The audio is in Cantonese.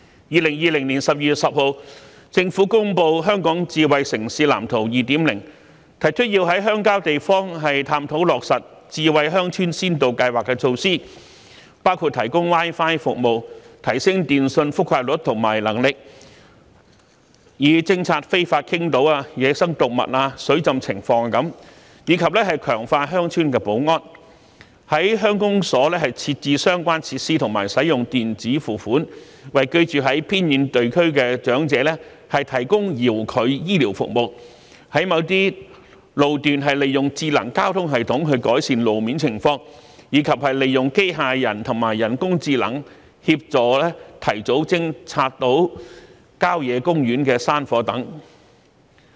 2020年12月10日政府公布《香港智慧城市藍圖 2.0》，提出要在鄉郊地方探討落實智慧鄉村先導計劃措施，包括提供 Wi-Fi 服務，提升電訊覆蓋率及能力，以偵察非法傾倒、野生動物及水浸情況，以及強化鄉村保安；在鄉公所設置相關設施及使用電子付款，為居住在偏遠地區的長者提供遙距醫療服務；在某些路段利用智能交通系統改善路面情況；及利用機械人及人工智能協助提早偵察郊野公園山火等。